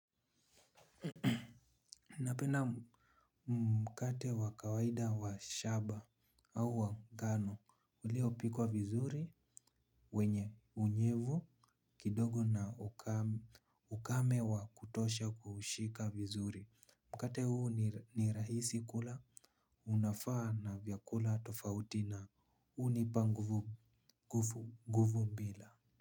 Napenda mkate wa kawaida wa shaba au wa ngano uliopikwa vizuri wenye unyevu kidogo na ukame wa kutosha kuushika vizuri. Mkate huu ni rahisi kula unafaa na vyakula tofauti na hunipa nguvu mbila.